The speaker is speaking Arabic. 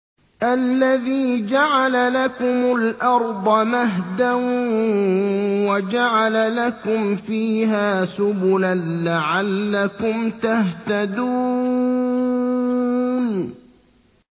الَّذِي جَعَلَ لَكُمُ الْأَرْضَ مَهْدًا وَجَعَلَ لَكُمْ فِيهَا سُبُلًا لَّعَلَّكُمْ تَهْتَدُونَ